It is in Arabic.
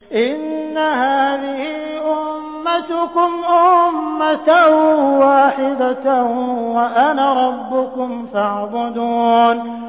إِنَّ هَٰذِهِ أُمَّتُكُمْ أُمَّةً وَاحِدَةً وَأَنَا رَبُّكُمْ فَاعْبُدُونِ